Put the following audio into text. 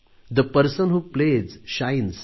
the person who plays shines